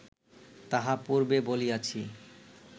তাহা পূর্বে বলিয়াছি